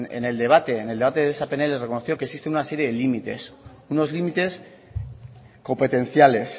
en el debate de esa pnl reconoció que existe una serie de límites unos límites competenciales